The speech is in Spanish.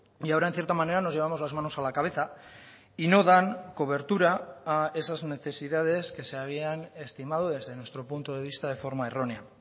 y ahora en cierta manera nos llevamos las manos a la cabeza y no dan cobertura a esas necesidades que se habían estimado desde nuestro punto de vista de forma errónea